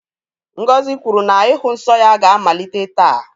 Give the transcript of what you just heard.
Ngozi kwuru na ịhụ nsọ ya ga-amalite taa.